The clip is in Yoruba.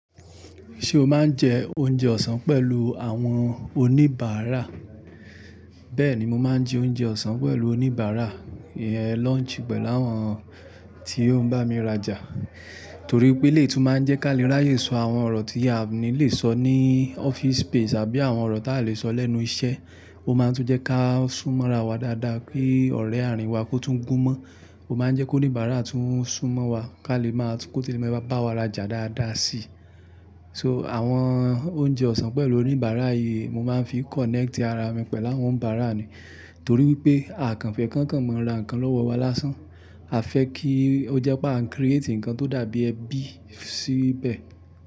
Ṣé o máa ń jẹ oúnjẹ ọ̀sán pẹ̀lú àwọn oníbàárà? Bẹ́ẹ̀ni, mo máa ń jẹ oúnjẹ ọ̀sán pẹ̀lú oníbàárà, lunch pẹ̀lú àwọn tí ó ń bá mi rajà. Torí pé elé tú máa ń jẹ́ ká lè ráyè sọ àwọn ọ̀rọ̀ tí a ò ní lè sọ ní office space àbí àwọn ọ̀rọ̀ tá lè sọ lẹ́nu iṣẹ́. Ó máa tún jẹ́ ká sún mọ́ra wa dáadáa kí ọ̀rẹ́ ààrín wa kó tún gún mọ́. Ó máa ń jẹ́ kó oníbàárà tún sún mọ́ wa ká lè máa kó tí lè máa bá wa rajà dáadáa si. So àwọn oúnjẹ ọ̀sán pẹ̀lú oníbàárà yìí mo máa ń fi connect ara mi pẹ̀lú àwọn bàárà ni. Torí pé àkànfẹ̀ kankan máa ń ra nǹkan lọ́wọ́ wa lásán. A fẹ́ kí ó jẹ́ pé à ń create nǹkan tó dàbí ẹbí síbẹ̀.